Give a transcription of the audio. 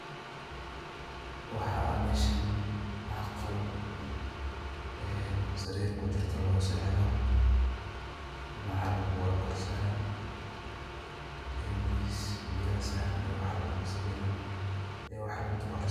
Waxa meshan aah qool, ee sarir kijirtoh lagu sexdoh macal bogaga korsaran ee biya saran ee wax lagu daroh.